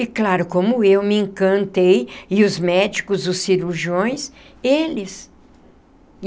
E claro, como eu me encantei, e os médicos, os cirurgiões, eles.